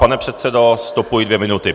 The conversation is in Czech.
Pane předsedo, stopuji dvě minuty.